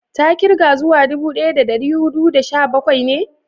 ta kirga zuwa dubu daya da dari hudu da sha bakwai ne?